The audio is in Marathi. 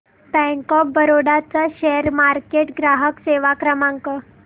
बँक ऑफ बरोडा चा शेअर मार्केट ग्राहक सेवा क्रमांक